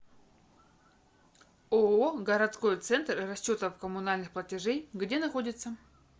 ооо городской центр расчетов коммунальных платежей где находится